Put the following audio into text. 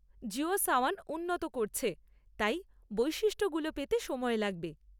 জিও সাওন উন্নত করছে, তাই বৈশিষ্ট্যগুলো পেতে সময় লাগবে।